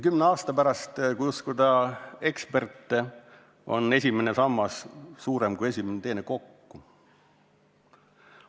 Kümne aasta pärast, kui uskuda eksperte, on esimene sammas suurem kui praegu esimene ja teine kokku.